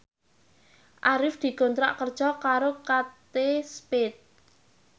Arif dikontrak kerja karo Kate Spade